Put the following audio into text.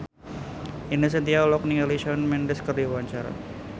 Ine Shintya olohok ningali Shawn Mendes keur diwawancara